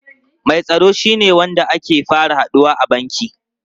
Mai tsaro shine wanda ake fara haduwa a banki.